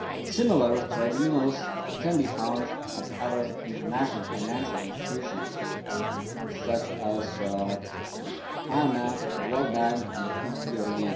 Similar tribunals can be found at other international financial institutions such as the IMF, the World Bank and the EBRD.